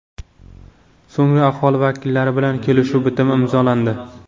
So‘ngra aholi vakillari bilan kelishuv bitimi imzolandi.